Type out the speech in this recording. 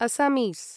अस्समीस्